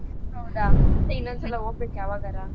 ಹೌದಾ ಮತ್ತೇ ಇನ್ನೊಂದ್ ಸಲ ಹೋಗ್ಬೇಕು ಯಾವಾಗಾರ.